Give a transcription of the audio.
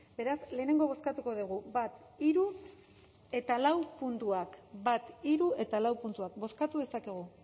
beraz lehenengo bozkatuko dugu bat hiru eta lau puntuak bat hiru eta lau puntuak bozkatu dezakegu